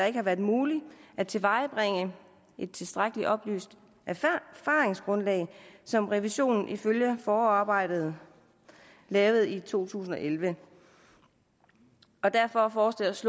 ikke har været muligt at tilvejebringe et tilstrækkelig oplyst erfaringsgrundlag som revisionen ifølge forarbejdet krævede i to tusind og elleve og derfor foreslås